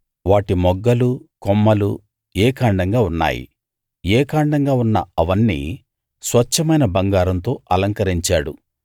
వాటి మొగ్గలు కొమ్మలు ఏకాండంగా ఉన్నాయి ఏకాండంగా ఉన్న అవన్నీ స్వచ్ఛమైన బంగారంతో అలంకరించాడు